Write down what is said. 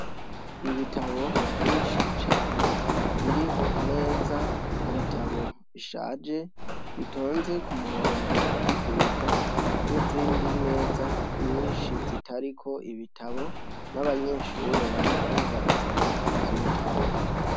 Ibitabo vyinshi cane biri ku meza, ibitabo bishaje bitonze ku murongo biduga n'izindi meza nyinshi zitariko ibitabo n'abanyeshure bariko barasoma ivyo bitabo.